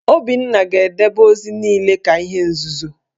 Obinna ga-edebe ozi niile ka ihe nzuzo!